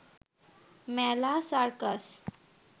মেলা, সার্কাস